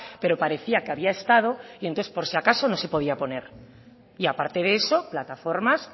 pero parecía que había estado y entonces por si acaso no se podía poner y aparte de eso plataformas